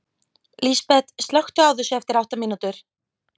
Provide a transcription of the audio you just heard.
Lísbet, slökktu á þessu eftir átta mínútur.